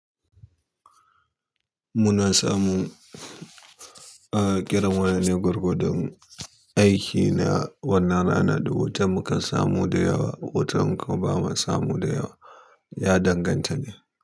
Muna samu, ah kira waya ne gwargwa don aiki na wannan rana da wutan mukan samu da yawa, wutan kuma ba mu samu da yawa. Ya danganta ne.